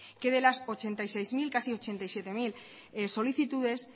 que de las ochenta y seis mil casi ochenta y siete mil solicitudes